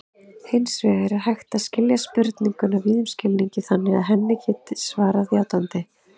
Hins vegar er hægt að skilja spurninguna víðum skilningi þannig að henni verði svarað játandi.